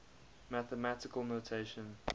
mathematical notation